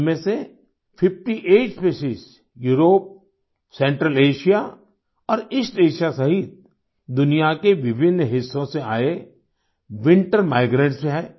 इनमें से 58 species Europe Central Asia और ईस्ट एएसआईए सहित दुनिया के विभिन्न हिस्सों से आए विंटर माइग्रेंट्स हैं